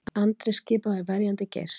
Andri skipaður verjandi Geirs